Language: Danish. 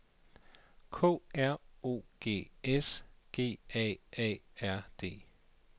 K R O G S G A A R D